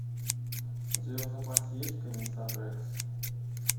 у тебя в запасе есть комиссар рекс